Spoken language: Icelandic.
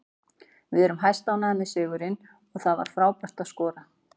Við erum hæstánægðir með sigurinn og það var frábært að skora.